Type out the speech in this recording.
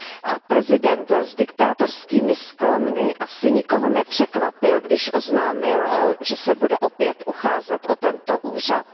A prezident s diktátorskými sklony asi nikoho nepřekvapil, když oznámil, že se bude opět ucházet o tento úřad.